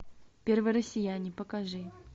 первые россияне покажи